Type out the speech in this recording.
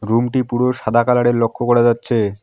রুমটি পুরো সাদা কালার -এর লক্ষ করা যাচ্ছে।